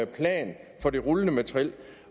plan for det rullende materiel